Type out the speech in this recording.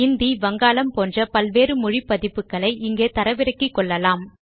இந்தி வங்காளம் போன்ற பல்வேறு மொழி பதிப்புக்களை இங்கே தரவிறக்கலாம்